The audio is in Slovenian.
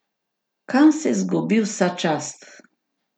Kam se izgubi vsa čast?